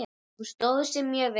Hún stóð sig mjög vel.